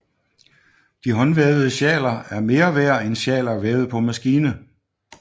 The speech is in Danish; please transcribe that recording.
De håndvævede sjaler er mere værd end sjaler vævet på maskine